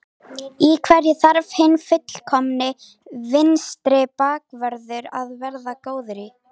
Í hverju þarf hinn fullkomni vinstri bakvörður að vera góður í?